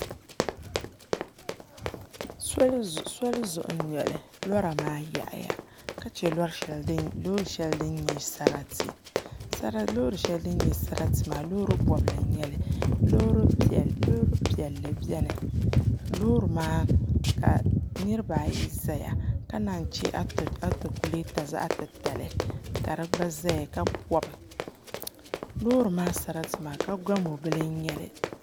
Soli zuɣu n nyɛli lora maa yaɣaya ka chɛ loori shɛli din nyɛ sarati loori shɛli din nyɛ sarati maa loori bobli n nyɛli loori piɛlli biɛni ka niraba ayi ʒɛya ka naan yi chɛ atakulɛta zaɣ titali ka di gba ʒɛya ka pobi loori kaa sarati maa ka gamo bili n nyɛli